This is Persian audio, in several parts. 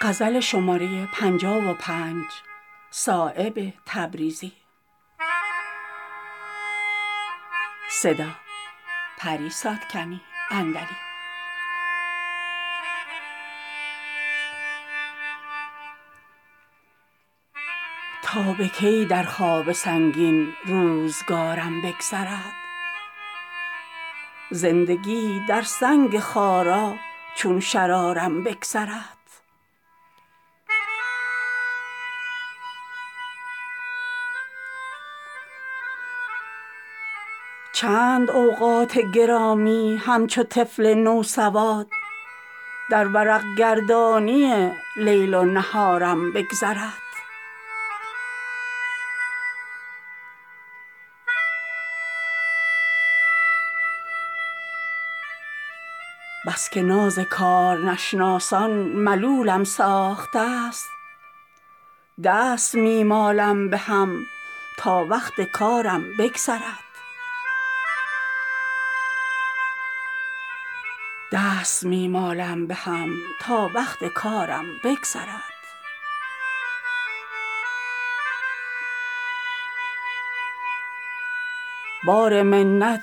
تا به کی در خواب سنگین روزگارم بگذرد زندگی در سنگ خارا چون شرارم بگذرد چند اوقات گرامی همچو طفل نوسواد در ورق گردانی لیل و نهارم بگذرد بس که ناز کارنشناسان ملولم ساخته است دست می مالم به هم تا وقت کارم بگذرد چون چراغ کشته گیرم زندگانی را زسر آتشین رخساره ای گر بر مزارم بگذرد از شکوه خاکساری بحر با آن دستگاه می شود باریک تا از جویبارم بگذرد ز انتظار تیغ عمری شد که گردن می کشم آه اگر صیاد غافل از شکارم بگذرد در محیط من به جان خویش می لرزد خطر کیست طوفان تا زبحر بیکنارم بگذرد بار منت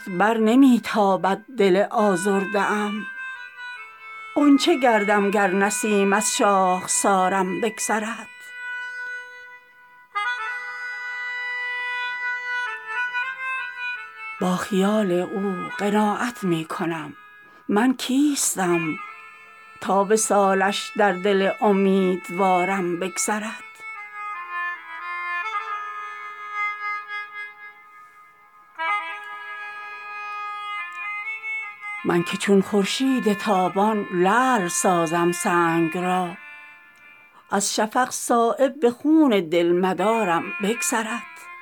بر نمی تابد دل آزاده ام غنچه گردم گر نسیم از شاخسارم بگذرد با خیال او قناعت می کنم من کیستم تا وصالش در دل امیدوارم بگذرد چون کشم آه از دل پر خون که باد خوش عنان می خورد صدکاسه خون کز لاله زارم بگذرد با ضعیفی بر زبردستان عالم غالبم برق می لرزد به جان کز خارزارم بگذرد از دل پردرد و داغم زهره می بازد پلنگ پر بریزد گر عقاب از کوهسارم بگذرد من که چون خورشید تابان لعل سازم سنگ را از شفق صایب به خون دل مدارم بگذرد